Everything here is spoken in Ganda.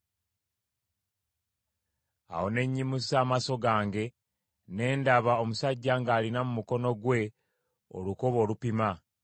Awo ne nnyimusa amaaso gange, ne ndaba, omusajja ng’alina mu mukono gwe olukoba olupima.